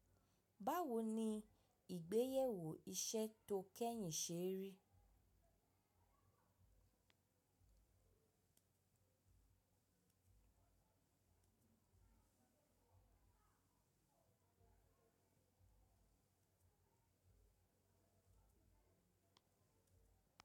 Báwo ni ìgbéyẹ̀wò iṣẹ́ tó kẹ́yìn ṣe rí?